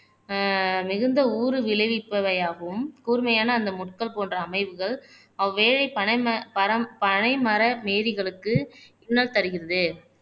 ஆஹ் மிகுந்த ஊறு விளைவிப்பவையாகவும் கூர்மையான அந்த முட்கள் போன்ற அமைப்புகள் அவ்வேலை பனைமர மேரிகளுக்கு இன்னல் தருகிறது